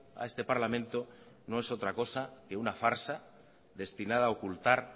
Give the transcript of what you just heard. a este parlamento no es otra cosa que una farsa destinada a ocultar